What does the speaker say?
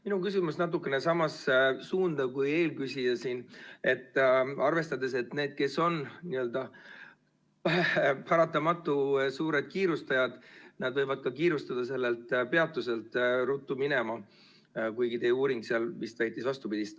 Minu küsimus läheb natukene samasse suunda kui eelküsijal, arvestades, et need, kes on suured kiirustajad, võivad kiirustada ka sellest peatusest ruttu minema, kuigi teie uuring vist väitis vastupidist.